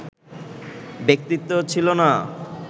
ব্যক্তিত্ব ছিল না